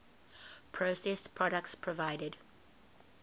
processed products provided